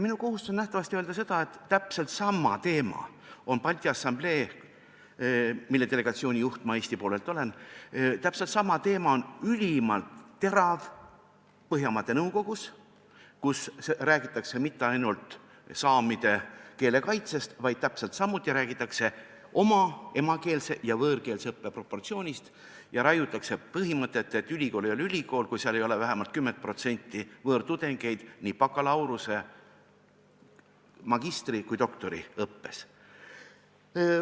Minu kohustus on nähtavasti öelda, et täpselt sama teema, mis on üleval Balti Assambleel, mille delegatsiooni juht ma Eesti poolt olen, on ülimalt terav ka Põhjamaade Nõukogus, kus ei räägita mitte ainult saamide keele kaitsest, vaid räägitakse ka oma emakeelse ja võõrkeelse õppe proportsioonist ning raiutakse põhimõtet, et ülikool ei ole ülikool, kui seal ei ole vähemalt 10% võõrtudengeid nii bakalaureuse-, magistri- kui ka doktoriõppes.